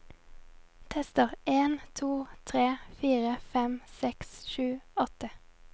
Tester en to tre fire fem seks sju åtte